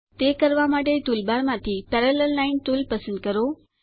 તે કરવા માટે ટુલબાર માંથી પેરાલેલ લાઇન ટુલ પસંદ કરો